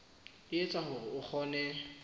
e etsa hore o kgone